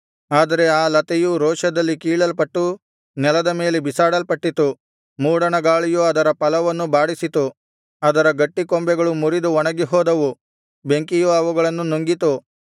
ಆದರೆ ಆ ಲತೆಯು ರೋಷದಲ್ಲಿ ಕೀಳಲ್ಪಟ್ಟು ನೆಲದ ಮೇಲೆ ಬಿಸಾಡಲ್ಪಟ್ಟಿತು ಮೂಡಣ ಗಾಳಿಯು ಅದರ ಫಲವನ್ನು ಬಾಡಿಸಿತು ಅದರ ಗಟ್ಟಿ ಕೊಂಬೆಗಳು ಮುರಿದು ಒಣಗಿ ಹೋದವು ಬೆಂಕಿಯು ಅವುಗಳನ್ನು ನುಂಗಿತು